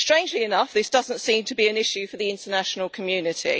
Strangely enough, this does not seem to be an issue for the international community.